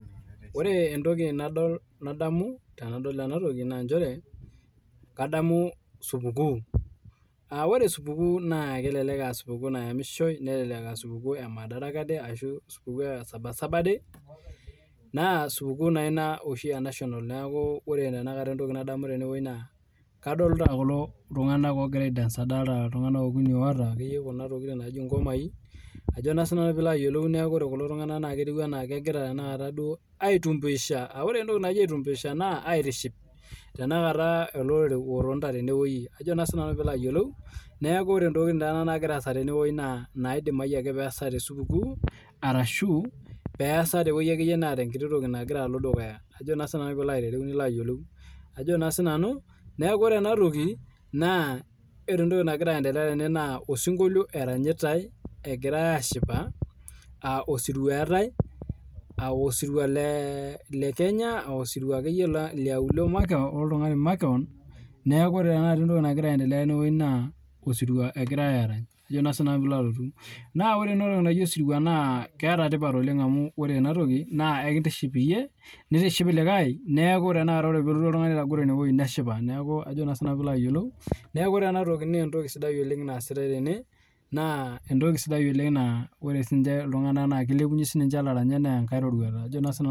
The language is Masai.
Ore entoki nadamu tenadol ena toki na kadamu supukuu aa ore supukuu kelelek aa enayamishoi kelelek aa madaraka day ashu sabasaba day naa supukuu naa ena enational neeku kadolita kulo tung'ana ogira aidance adolita akeyie iltung'ana okuni otaa Kuna tokitin naaji ngomai neeku ore kulo tung'ana netieu ena kegira aitumbisha ore entoki naaji aitumbisha naa aitiship ele orore otonita tene ore ntokitin naagira asaa tenewueji naa ntokitin naidimayu nesaa tee supukuu ashu peasa akeyie ebaiki netaa entoki naloito dukuya nekuu ore ena toki naa ore entoki nagira aendelea tene naa osinkolio eranyitai tene egirai ashipa aa osirua etae aa osirua lekenya aa osirua lemakewon neeku ore entoki nagira aendelea tene naa osirirua egirai Arany naa ore ena toki naaji osirua naa ketaa tipat oleng amu ore ena toki naa ekintiship iyie nitiship likae neeku ore pee elotu oltung'ani ene etagoree neshipa neeku ore ena toki naa entoki sidai naasitae Tena naa ore siniche iltung'ana naa kilepunye siniche elaranyak neya enkae roruat